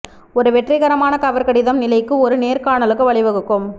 ஒரு வெற்றிகரமான கவர் கடிதம் நிலைக்கு ஒரு நேர்காணலுக்கு வழிவகுக்கும்